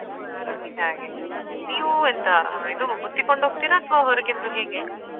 ಹಾಗೆ ನೀವ್ ಎಂತ ಇದು ಬುತ್ತಿ ಕೊಂಡುಹೋಕ್ತೀರಾ ಅಥ್ವಾ ಹೊರಗಿಂದ ಹೇಗೆ?